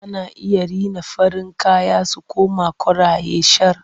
Ana iya rina farin kaya su koma koraye shar.